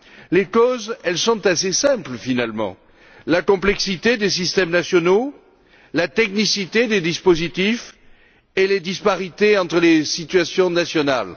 Les causes, elles sont assez simples, finalement la complexité des systèmes nationaux, la technicité des dispositifs et les disparités entre les situations nationales.